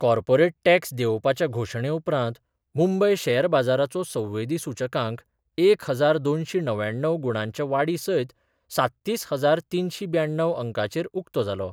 Corporate tax देंवोवपाच्या घोशणे उपरांत, मुंबय शॅर बाजाराचो संवेदी सूचकांक एक हजार दोनशी णव्याण्णव गुणांच्या वाडी सयत सात्तीस हजार तिनशी ब्याण्णव अंकाचेर उक्तो जालो.